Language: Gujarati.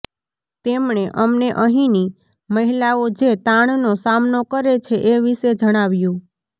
તેમણે અમને અહીંની મહિલાઓ જે તાણનો સામનો કરે છે એ વિશે જણાવ્યું